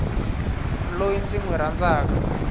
loyi ndzi n wi rhandzaka